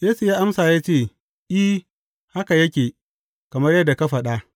Yesu ya amsa ya ce, I, haka yake, kamar yadda ka faɗa.